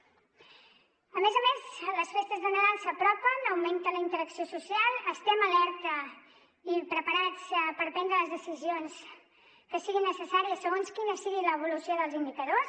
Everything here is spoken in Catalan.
a més a més les festes de nadal s’apropen augmenta la interacció social estem alerta i preparats per prendre les decisions que siguin necessàries segons quina sigui l’evolució dels indicadors